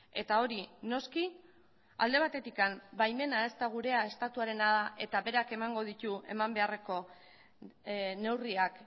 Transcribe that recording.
eta hori noski alde batetik baimena ez da gurea estatuarena eta berak emango ditu eman beharreko neurriak